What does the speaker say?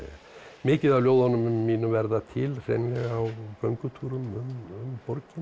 mikið af ljóðunum mínum verða til á göngutúrum um borgina